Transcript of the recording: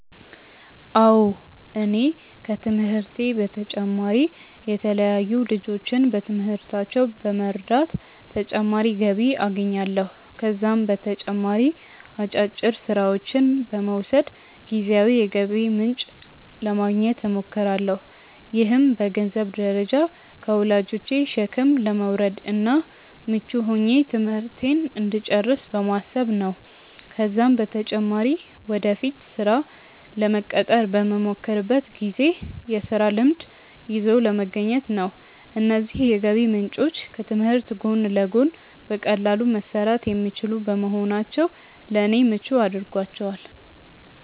አዎ እኔ ከትምህርቴ በተጨማሪ የተለያዩ ልጆችን በትምህርታቸው በመርዳት ተጨማሪ ገቢ አገኛለሁ። ከዛም በተጨማሪ አጫጭር ስራዎችን በመውሰድ ጊዜያዊ የገቢ ምንጭ ለማግኘት እሞክራለሁ። ይህም በገንዘንብ ደረጃ ከወላጆቼ ሸክም ለመውረድ እና ምቹ ሆኜ ትምህርቴን እንድጨርስ በማሰብ ነው ነው። ከዛም በተጨማሪ ወደፊት ስራ ለመቀጠር በመሞክርበት ጊዜ የስራ ልምድ ይዞ ለመገኘት ነው። እነዚህ የገቢ ምንጮች ከትምህርት ጎን ለጎን በቀላሉ መሰራት የሚችሉ በመሆናቸው ለኔ ምቹ አድርጓቸዋል።